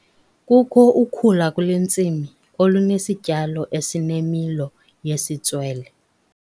Kukho ukhula kule ntsimi olunesityalo esinemilo yesitswele.